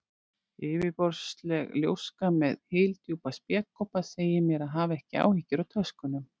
Yfirborðsleg ljóska með hyldjúpa spékoppa segir mér að hafa ekki áhyggjur af töskunum.